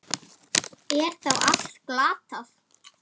Er þá allt glatað?